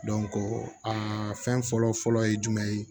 a fɛn fɔlɔ fɔlɔ ye jumɛn ye